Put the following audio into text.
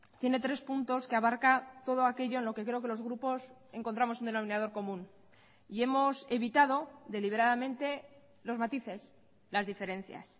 tiene tres puntos que abarca todo aquello en lo que creo que los grupos encontramos un denominador común y hemos evitado deliberadamente los matices las diferencias